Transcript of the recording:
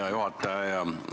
Hea juhataja!